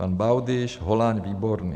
Pan Baudyš, Holáň, Výborný.